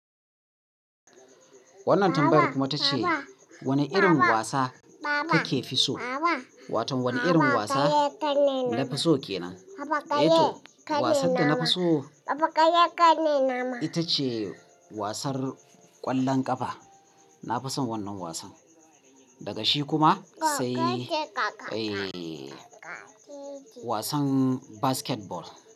Wannan tambayar kuma ta ce wane irin wasa kake fi so? Wato wane irin wasa nafi so kenan? Eh toh wasan da nafi so ita ce wasan ƙwallon ƙafa. Nafison wannan wasan, daga shi kuma sai eh wasan basketball.